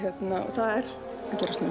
það er að gerast núna